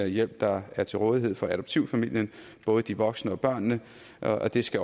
hjælp der er til rådighed for adoptivfamilien både de voksne og børnene og det skal